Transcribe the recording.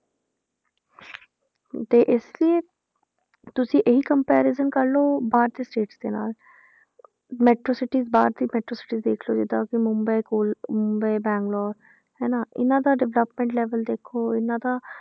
ਤੇ ਇਸ ਲਈ ਤੁਸੀਂ ਇਹੀ comparison ਕਰ ਲਓ ਬਾਹਰ ਦੇ states ਦੇ ਨਾਲ metro cities ਬਾਹਰ ਦੀ metro cities ਦੇਖ ਲਓ ਜਿੱਦਾਂ ਕਿ ਮੁੰਬਈ ਕੋਲ, ਮੁੰਬਈ, ਬੰਗਲੋਰ ਹਨਾ ਇਹਨਾਂ ਦਾ development level ਦੇਖੋ ਇਹਨਾਂ ਦਾ